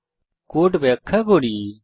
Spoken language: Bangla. এখন আমি কোড ব্যাখ্যা করি